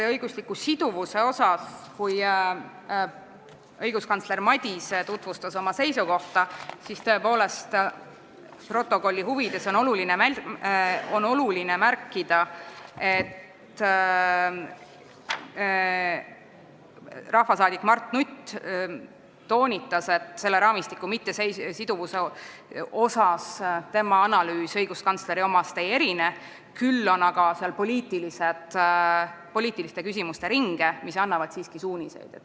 Protokolli huvides on tõepoolest oluline märkida, et kui õiguskantsler Madise tutvustas oma seisukohta, siis toonitas rahvasaadik Mart Nutt, et tema analüüs selle raamistiku mittesiduvuse kohta õiguskantsleri omast ei erine, kuid seal on poliitiliste küsimuste ringe, mis annavad siiski suuniseid.